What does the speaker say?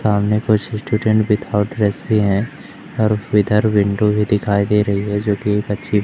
सामने कुछ students without dress भी हैं और इधर विंडो भी दिखाई दे रही है जो की पक्षी --